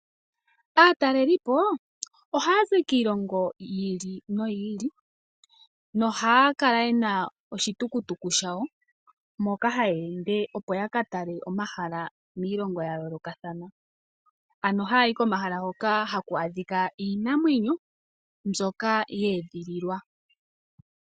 Aataleliipo ohaya zi kiilongo yiili noyili nohaya kala yena oshitukutuku shawo moka haya ende opo ya katale omahala miilongo yayoolokathana, ano haya yi komahala hoka haku a dhika iinamwenyo mbyoka yeedhililwa.